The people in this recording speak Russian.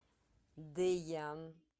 дэян